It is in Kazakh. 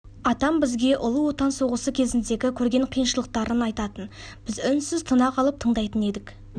атам бізге ұлы отан соғысы кезіндегі көрген қиыншылықтарын айтатын біз үнсіз тына қалып тыңдайтын едік